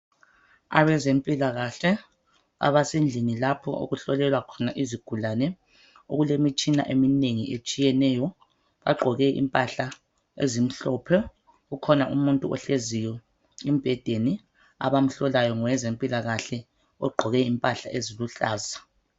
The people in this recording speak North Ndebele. Abezempilakahle abasendlini lapho okuhlolelwa khona izigulane okulemitshina eminengi etshiyeneyo bagqoke impahla ezimhlophe ukhona umuntu ohleziyo embhedeni abamhlolayo ngowezempilakahle ogqoke impahla eziluhlaza.